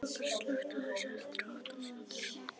Róbert, slökktu á þessu eftir átta mínútur.